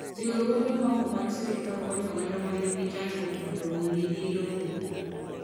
riwruoge ma ok mag sirkal konyo oganda ma nigi chandruok mondo ondiki lopegi.